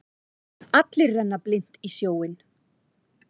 Allir renna blint í sjóinn.